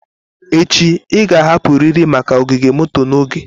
Echi, ị ga-ahapụrịrị maka ogige moto n'oge.